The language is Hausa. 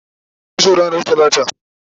tayi kitso ranar talata